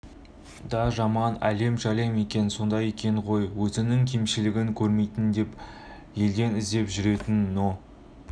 да жаман әлем-жәлем екен содан екен ғой өзінің кемшілігін көрмейін деп елден іздеп жүретін но